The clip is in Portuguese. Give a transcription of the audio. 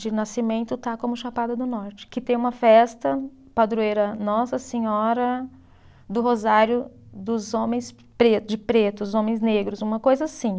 de nascimento está como Chapada do Norte, que tem uma festa padroeira Nossa Senhora do Rosário dos homens preto, de pretos, homens negros, uma coisa assim.